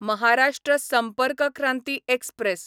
Maharashtra Sampark Kranti express